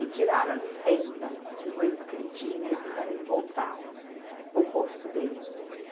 E tiraram a licença de doença que ele tinha e fizeram ele voltar para o posto dele.